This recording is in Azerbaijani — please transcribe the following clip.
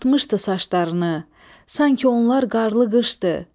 Ağartmışdı saçlarını, sanki onlar qarlı qışdı.